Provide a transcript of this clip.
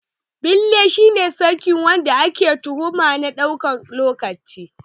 Beli shi ne sakin wanda ake tuhuma na ɗan lokaci